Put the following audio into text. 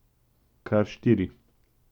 Kar štiri.